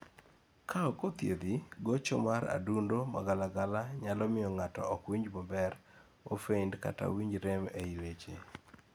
ka ok othiethi, gocho mar adundo magalagala nyalo miyo ng'ato ok winji maber, ofeint kata owinj rem ei leche